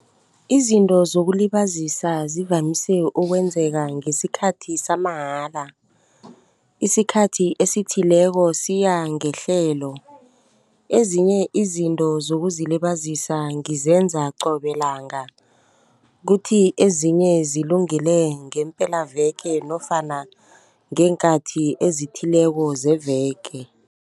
Izinto zokulibazisa zivamise ukwenzeka ngesikhathi samahala, isikhathi esithileko siyangehlelo. Ezinye izinto zokuzilibazisa ngizenza qobe langa, kuthi ezinye zilungele ngepelaveke nofana ngeenkathi ezithileko zeveke.